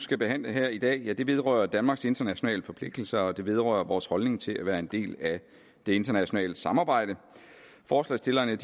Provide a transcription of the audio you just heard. skal behandle her i dag vedrører danmarks internationale forpligtelser og det vedrører vores holdning til at være en del af det internationale samarbejde forslagsstillerne